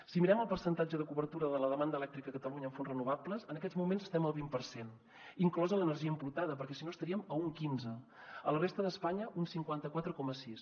si mirem el percentatge de cobertura de la demanda elèctrica a catalunya amb fonts renovables en aquests moments estem al vint per cent inclosa l’energia importada perquè si no estaríem a un quinze a la resta d’espanya un cinquanta quatre coma sis